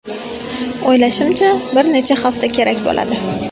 O‘ylashimcha, bir necha hafta kerak bo‘ladi.